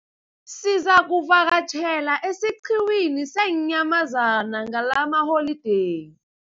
Sizakuvakatjhela esiqhiwini seenyamazana ngalamaholideyi.